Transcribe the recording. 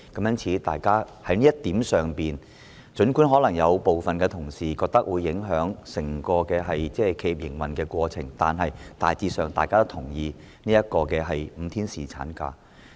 因此，就這一點，儘管有部分同事認為可能會影響整個企業的營運過程，但大致上大家也同意5天侍產假。